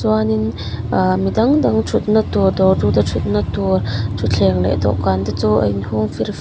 chuanin ahh midang dang thutna tur dawrtu te thutna tur thutthleng leh dawhkan te chu a in hung fir--